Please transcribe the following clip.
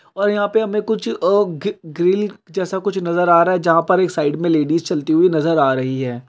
और यहाँ पे हमे कुछ अ गी-ग्रिल जैसा कुछ नजर आ रहा जहा पर एक साइड मे लेडिज चलती हुई नजर आ रही है ।